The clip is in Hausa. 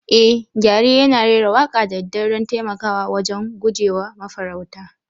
Eh, gyare yana rera waƙa da daddare don taimakawa wajen guje wa mafarauta.